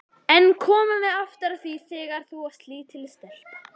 En komum aftur að því þegar þú varst lítil stelpa.